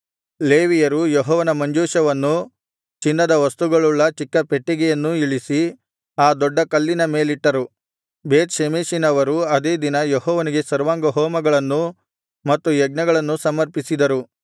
ಲೇವಿಯರು ಯೆಹೋವನ ಮಂಜೂಷವನ್ನೂ ಚಿನ್ನದ ವಸ್ತುಗಳುಳ್ಳ ಚಿಕ್ಕ ಪೆಟ್ಟಿಗೆಯನ್ನೂ ಇಳಿಸಿ ಆ ದೊಡ್ಡ ಕಲ್ಲಿನ ಮೇಲಿಟ್ಟರು ಬೇತ್ ಷೆಮೆಷಿನವರು ಅದೇ ದಿನ ಯೆಹೋವನಿಗೆ ಸರ್ವಾಂಗಹೋಮಗಳನ್ನೂ ಮತ್ತು ಯಜ್ಞಗಳನ್ನೂ ಸಮರ್ಪಿಸಿದರು